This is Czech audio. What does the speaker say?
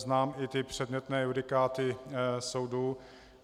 Znám i ty předmětné judikáty soudu.